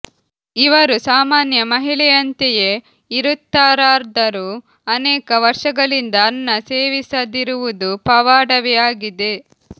ಇವರು ಸಾಮಾನ್ಯ ಮಹಿಳೆಯಂತೆಯೇ ಇರುತ್ತಾರಾದರೂ ಅನೇಕ ವರ್ಷಗಳಿಂದ ಅನ್ನ ಸೇವಿಸದಿರುವುದು ಪವಾಡವೇ ಆಗಿದೆ